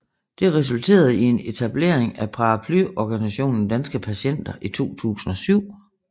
Det resulterede i en etablering af paraplyorganisationen Danske Patienter i 2007